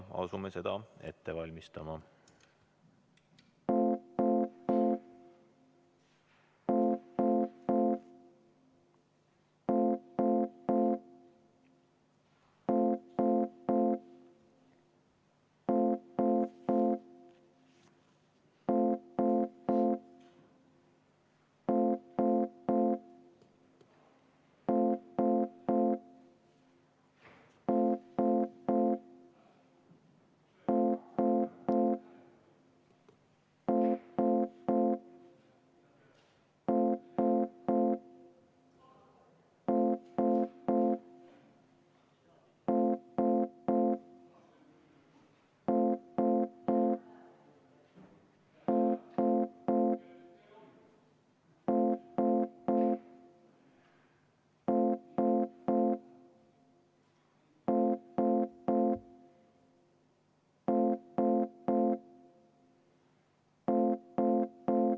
Asume seda ette valmistama.